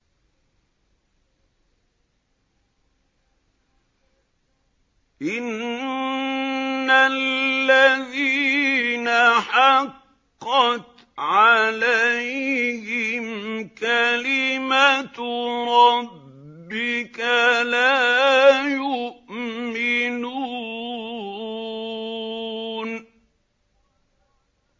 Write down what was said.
إِنَّ الَّذِينَ حَقَّتْ عَلَيْهِمْ كَلِمَتُ رَبِّكَ لَا يُؤْمِنُونَ